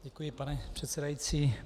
Děkuji, pane předsedající.